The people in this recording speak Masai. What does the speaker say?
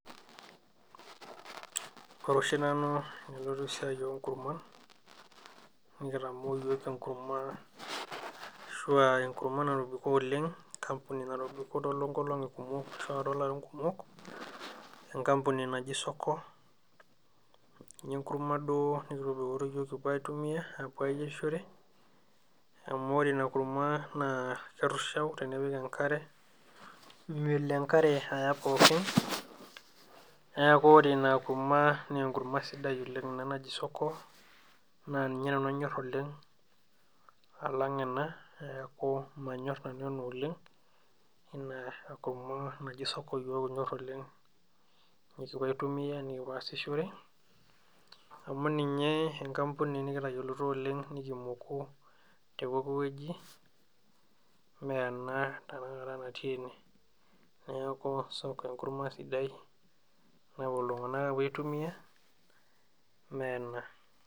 Koree oshi nanu enanyorie esiai oonkurman nekitamoo iyiok enkurma ashuu aa enkurma natobiko oleng' enkampuni natoobiko toonkolong'i kumok tiatua ilarin kumok enkampuni naji soko ninye enkurma duoo nekiitobikoiyio iyook kipuo aitumia aapuo ayierishore amuu ore ina kurma naa keirushau tenkare melo enkare aya pookin neeku ore ina kurma naa enkurma sidai oleng` ina naji soko naa ninye nanu anyoor oleng' alang' enaa neeku manyorr nanu ena oleng` ina kurma naji soko iyok kinyorr oleng' nekipuo aitumia nekipuo aasishore amuu ninye enkampuni nikitayioloito oleng' nikimoku tee pooki weji mee ena tanakata natii ene neeku soko enkurma sidai oleng' napuo iltunganak apuo aitumia mee ena.